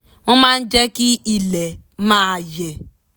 wọ́n máa jẹ́ kí ilẹ̀ máa yẹ̀